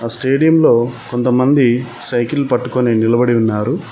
ఆ స్టేడియంలో కొంతమంది సైకిల్ పట్టుకొని నిలబడి ఉన్నారు.